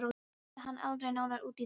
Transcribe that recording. Ég spurði hann aldrei nánar út í það.